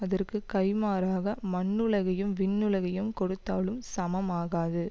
அதற்கு கைம்மாறாக மண்ணுலகையும் விண்ணுலகயும் கொடுத்தாலும் சமம் ஆகாது